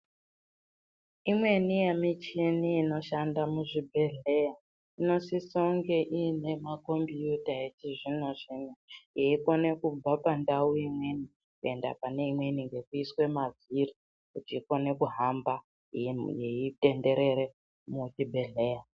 Imweni yemushini inoshandiswa mangwani inoshanda muzvibhehleya inosisa kunge ine makombiyuta mezvibhedhlera yeikona kubva pandau imweni kuenda pane imweni nskuiswawo pazvifi kuti ikone kuhamba yeitenderera muzvibhedhlera.